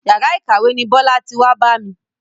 Yàrá ìkàwé ni Bọ́lá ti wá bá mi.